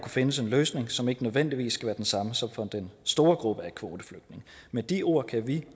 findes en løsning som ikke nødvendigvis skal være den samme som for den store gruppe af kvoteflygtninge med de ord kan vi